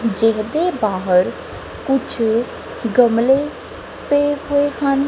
ਜਿਹਨਾਂ ਦੇ ਬਾਹਰ ਕੁਛ ਗਮਲੇ ਪਏ ਹੋਏ ਹਨ।